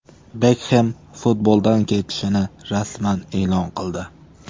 Bekxem futboldan ketishini rasman e’lon qildi.